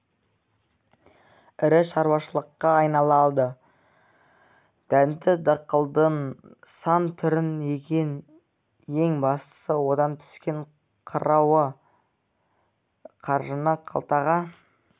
ірі шаруашылыққа айналды дәнді дақылдың сан түрін егеді ең бастысы одан түскен қыруар қаржыны қалтаға